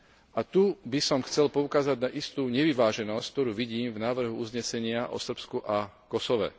A tu by som chcel poukázať na istú nevyváženosť, ktorú vidím v návrhu uznesenia o Srbsku a Kosove.